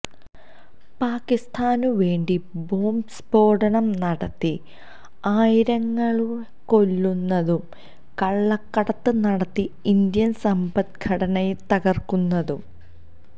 പാക്കിസ്ഥാനുവേണ്ടി bomb സ്ഫോടനം നടത്തി ആയിരങ്ങളെ കൊല്ലുന്നതും കള്ളക്കടത്ത് നടത്തി ഇന്ത്യന് സമ്പദ്ഘടനയെ തകര്ക്കുന്നതും